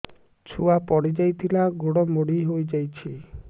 ଛୁଆ ପଡିଯାଇଥିଲା ଗୋଡ ମୋଡ଼ି ହୋଇଯାଇଛି